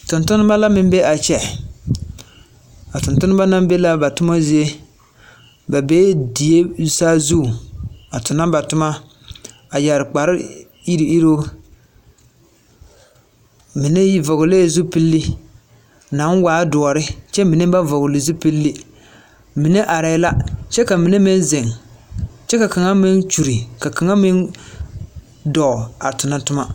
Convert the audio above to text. Tontoneba la meŋ be a kyɛ. A tontoneba naŋ be laa ba toma zie, ba bee die saazu tonɔ ba toma, a yare kpare iruŋ iruŋ, mine vɔgele la zupil, naŋ waa doɔre, kyɛ mine ba vɔgele. Mine arɛɛ la, kyɛ ka mine meŋ zeŋ, kyɛ ka kaŋa meŋ kyuli, ka kaŋa meŋ dɔɔ a tonɔ toma.